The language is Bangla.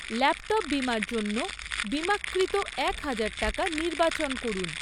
ল্যাপ্টপ বিমার জন্য বিমাকৃত একহাজার টাকা নির্বাচন করুন